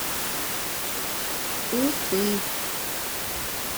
уфы